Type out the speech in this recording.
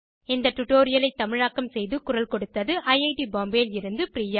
இந்த டுடோரியலை தமிழாக்கம் செய்து குரல் கொடுத்தது ஐஐடி பாம்பேவில் இருந்து பிரியா